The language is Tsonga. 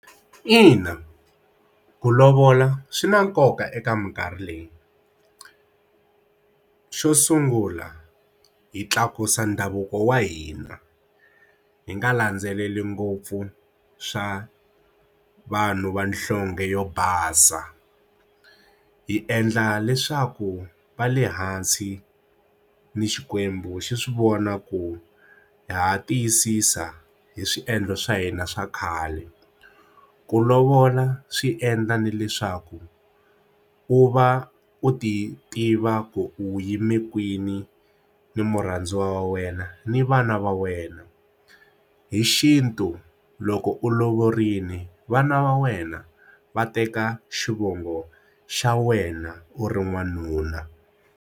Ina, ku lovola swi na nkoka eka minkarhi leyi xo sungula hi tlakusa ndhavuko wa hina hi nga landzeleli ngopfu swa vanhu vanhlonge yo basa hi endla leswaku va le hansi ni xikwembu xi swi vona ku ha tiyisisa hi swiendlo swa hina swa khale ku lovola swi endla na leswaku u va u ti tiva ku u yime kwini ni murhandziwa wa wena ni vana va wena hi xintu loko u lovile vana va wena va teka xivongo xa wena u ri n'wanuna.